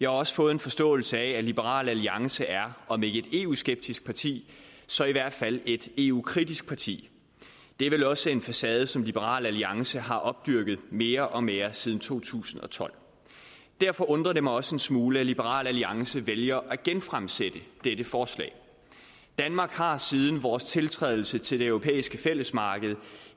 også fået forståelsen af at liberal alliance er om ikke eu skeptisk parti så i hvert fald et eu kritisk parti det er vel også en facade som liberal alliance har opdyrket mere og mere siden to tusind og tolv derfor undrer det mig også en smule at liberal alliance vælger at genfremsætte dette forslag danmark har siden vores tiltrædelse til det europæiske fællesmarked